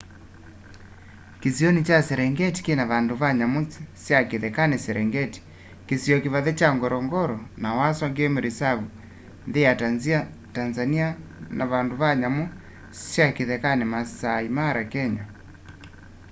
kĩsĩonĩ kya serengetĩ kĩna vandũ va nyamũ sya kĩthekanĩ serengetĩ kĩsĩo kĩvathe kya ngorongoro na maswa game reserve nthĩ ya tanzanĩa na vandũ va nyamũ sya kĩthekanĩ maasaĩ mara kenya